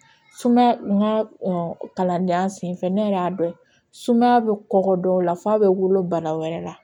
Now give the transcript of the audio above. Sumaya n ka kalandenya sen fɛ ne yɛrɛ y'a dɔn sumaya bɛ kɔgɔ dɔw la f'a bɛ wolo bana wɛrɛ la